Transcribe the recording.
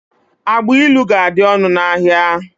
Agbailu ga-adị ọnụ n'ahia.